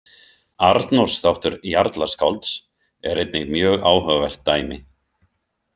Arnórs þáttur jarlaskálds er einnig mjög áhugavert dæmi.